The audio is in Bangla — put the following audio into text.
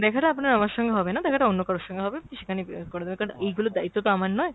দেখাটা আপনার আমার সঙ্গে হবে না, দেখাটা অন্য কারোর সঙ্গে হবে আপনি সেখানে করে দেবেন কারণ এইগুলোর দায়িত্ব তো আমার নয়।